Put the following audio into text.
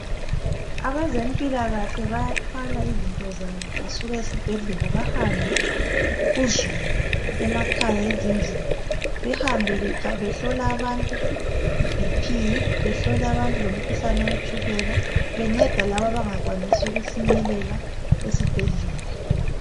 abezempilakahle bayathwala izinto zabo besuka ezibhedlela bahambe kuzulu emakhaya ezindlini behambe behlola abantu i BP behlola abantu lemikhuhlane wetshukela benceda laba abangawanisi ukufinyelela esibhedlela